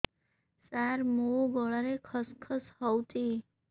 ସାର ମୋ ଗଳାରେ ଖସ ଖସ ହଉଚି